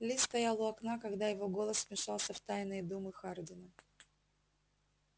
ли стоял у окна когда его голос вмешался в тайные думы хардина